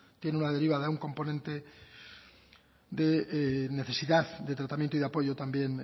tienen una derivada un componente de necesidad de tratamiento y de apoyo también